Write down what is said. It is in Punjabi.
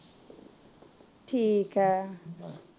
ਠੀਕ ਏ